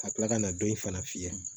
Ka tila ka na don in fana fiyɛ